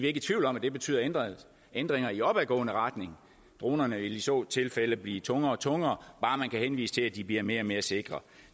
ikke i tvivl om at det betyder ændringer ændringer i opadgående retning dronerne vil i så tilfælde blive tungere og tungere bare man kan henvise til at de bliver mere og mere sikre